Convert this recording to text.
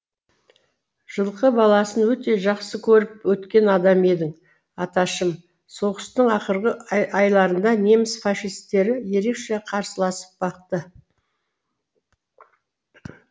жылқы баласын өте жақсы көріп өткен адам едің аташым соғыстың ақырғы айларында неміс фашистері ерекше қарсыласып бақты